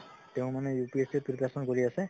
তেওঁ মানে UPSC preparation কৰি আছে